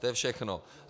To je všechno.